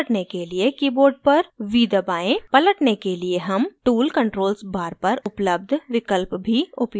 पलटने के लिए हम tool controls bar पर उपलब्ध विकल्प भी उपयोग कर सकते हैं